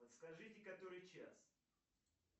подскажите который час